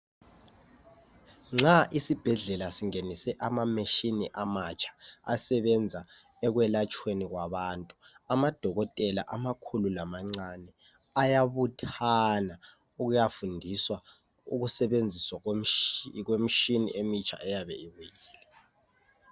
Nxa isibhedlela singenise ama machine amatsha asebenza ekwelatshweni kwabantu. Amadokotela amakhulu lamancane ayabuthana ukuyafundisa ukusebenziswa kwe mitshina emitsha eyabe ibuyile.